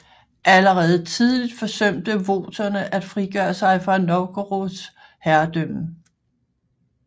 Allerede tidligt forsøgte voterne at frigøre sig fra Novgorods overherredømme